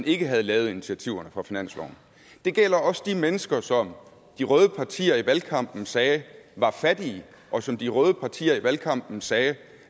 ikke havde været initiativerne fra finansloven det gælder også de mennesker som de røde partier i valgkampen sagde var fattige og som de røde partier i valgkampen sagde